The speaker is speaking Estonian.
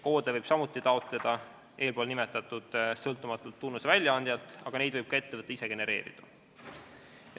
Koode võib samuti taotleda eespool nimetatud sõltumatult tunnuste väljaandjalt, aga neid võib ka ettevõte ise genereerida.